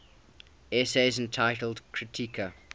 essays entitled kritika